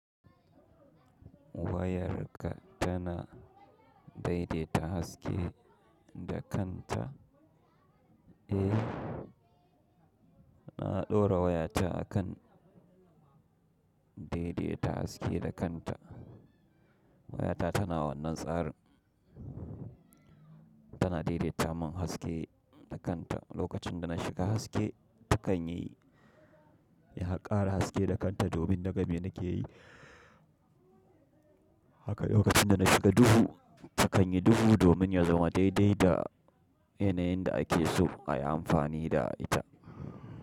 Wayarka tana daidaita haske da kanta. Eh, na ɗora wayata a kan daidaita haske da kanta. Wayata tana wannan tsarin. Tana daidaita min haske da kanta. Lokacin da na shiga haske, takan yi, ya ƙara haske da kanta domin na ga me nake yi. Haka lokacin da na shiga duhu, takan yi duhu domin ya zama daidai da yanayin da ake so a yi amfani da ita.